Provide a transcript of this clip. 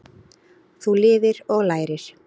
Þú lifir og lærir.